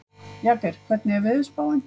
Jagger, hvernig er veðurspáin?